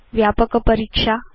व्यापक परीक्षा